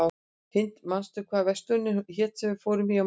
Hind, manstu hvað verslunin hét sem við fórum í á mánudaginn?